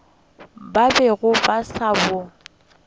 ba bego ba sa bo